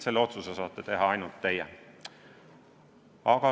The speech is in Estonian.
Selle otsuse saate teha ainult teie.